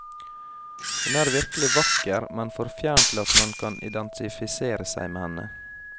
Hun er virkelig vakker, men for fjern til at man kan identifisere seg med henne.